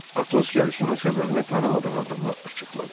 Atos gəlişinin səbəbini tanımadığı adama açıqladı.